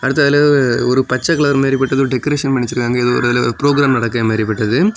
அடுத்த அளவு ஒரு பச்சை கலர் மாதிரி போட்டது ஏதோ டெக்கரேஷன் பண்ணி வச்சிருக்காங்க ஏதோ இதுல ப்ரோக்ராம் நடக்கிற மாதிரிபட்டது.